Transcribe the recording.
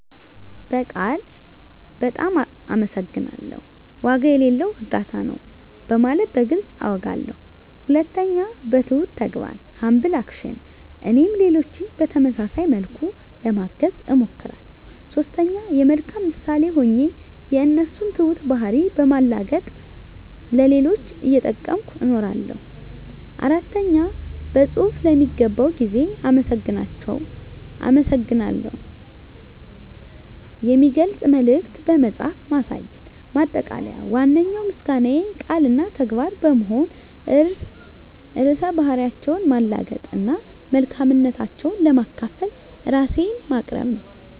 በቃል "በጣም አመሰግናለሁ"፣ "ዋጋ የሌለው እርዳታ ነው" በማለት በግልፅ አውጋለሁ። 2. በትሁት ተግባር (Humble Action) - እኔም ሌሎችን በተመሳሳይ መልኩ ለማገዝ እሞክራለሁ። 3. የመልካም ምሳሌ ሆኜ የእነሱን ትሁት ባህሪ በማላገጥ ለሌሎች እየጠቀምኩ እነግራለሁ። 4. በፅሁፍ ለሚገባው ጊዜ አመሰግናታቸውን የሚገልጽ መልዕክት በመጻፍ ማሳየት። ማጠቃለያ ዋነኛው ምስጋናዬ ቃል እና ተግባር በመሆን ርዕሰ ባህሪያቸውን ማላገጥ እና መልካምነታቸውን ለማካፈል ራሴን ማቅረብ ነው።